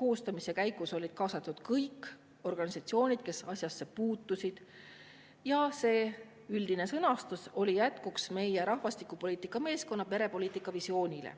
koostamise käigus olid kaasatud kõik organisatsioonid, kes asjasse puutusid, ja see üldine sõnastus oli jätkuks meie rahvastikupoliitika meeskonna perepoliitika visioonile.